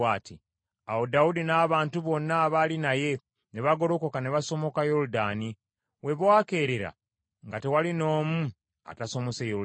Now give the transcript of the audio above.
Awo Dawudi n’abantu bonna abaali naye ne bagolokoka ne basomoka Yoludaani; we bwakeerera nga tewali n’omu atasomose Yoludaani.